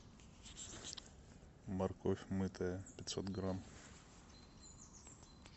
морковь мытая пятьсот грамм